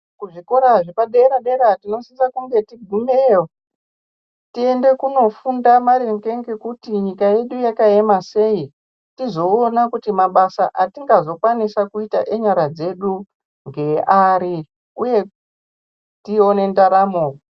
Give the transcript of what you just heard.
Kuzvikora zvepadera dera tofanange teingumeyo tiendo nofunda maringe ngekuti nyika yedu yakayema sei tizoona kuti mabasa atingazokwanisa ita ngenyaya dzedu ngepari uye tione ndaramo.